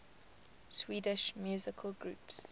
swedish musical groups